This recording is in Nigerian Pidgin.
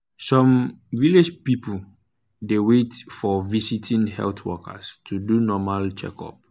some um village people dey wait for um visiting health workers to do um normal checkup.